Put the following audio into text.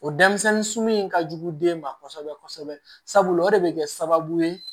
O denmisɛnnin sun in ka jugu den ma kosɛbɛ kosɛbɛ sabula o de bɛ kɛ sababu ye